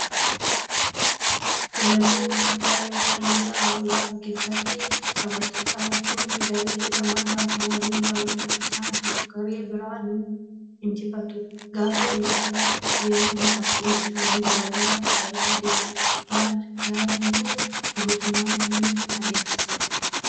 Kilaboota kubbaa miilaa liigii Awurooppaa keessatti taphattoonni garee lamaa gaafa waliin taphatan isaan tokko garee biraa ni injifatu. Gaafa injifataa deeman qabxiin isaanii dabalaa dabalaa deema. Yaadi kun guutummaatti ni adeemsisa.